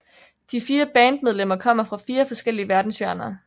De fire bandmedlemmer kommer fra fire forskellige verdenshjørner